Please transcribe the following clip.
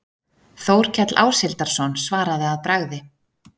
Þórkell Áshildarson svaraði að bragði